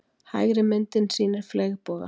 Hægri myndin sýnir fleygboga.